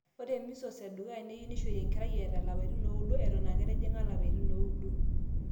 ore measles edukuya neyieu neishori enkerai eeta ilapaitin ooudo eton eeketijing'a lapaitin ooudo